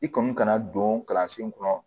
I kɔni kana don kalansen kɔnɔ